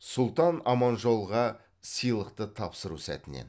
сұлтан аманжолға сыйлықты тапсыру сәтінен